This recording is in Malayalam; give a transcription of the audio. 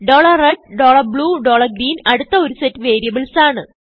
red blue greenഅടുത്ത ഒരു സെറ്റ് വേരിയബിൾസ് ആണ്